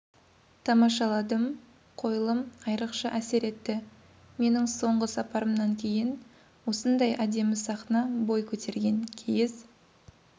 тамашаладым қойылым айрықша әсер етті менің соңғы сапарымнан кейін осындай әдемі сахна бой көтерген киіз